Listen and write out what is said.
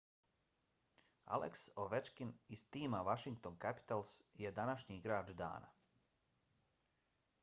alex ovechkin iz tima washington capitals je današnji igrač dana